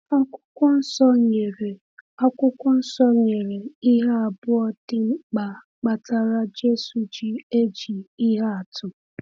Akwụkwọ Nsọ nyere Akwụkwọ Nsọ nyere ihe abụọ dị mkpa kpatara Jésù ji eji ihe atụ.